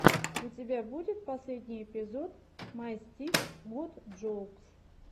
у тебя будет последний эпизод май стик гот джоукс